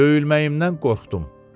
Döyülməyimdən qorxdum.